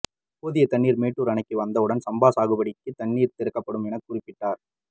போதிய தண்ணீர் மேட்டூர் அணைக்கு வந்த உடன் சம்பா சாகுபடிக்கு தண்ணீர் திறக்கப்படும் எனவும் குறிப்பிட்டார்